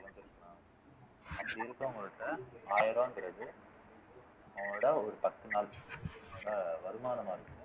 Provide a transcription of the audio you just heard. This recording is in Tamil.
அப்படி இருக்குறவங்ககிட்ட ஆயிரம் ரூபாய்ங்கிறது அவுங்களோட ஒரு பத்து நாள் நல்லா வருமானமா இருக்கு